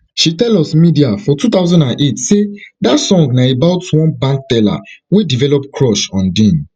she tell us media for two thousand and eight say dat song na about one bank teller wey develop crush on dean